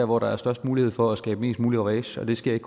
hvor der er størst mulighed for at skabe mest mulig ravage det sker ikke